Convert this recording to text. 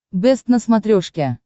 бэст на смотрешке